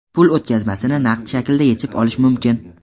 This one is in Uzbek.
Pul o‘tkazmasini naqd shaklda yechib olish mumkin.